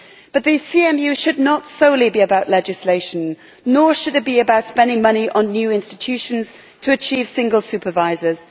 But the CMU should not solely be about legislation, nor should it be about spending money on new institutions to achieve single supervisors.